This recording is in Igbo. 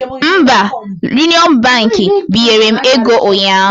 Mba, Union Baankị binyere m ego ụnyaahụ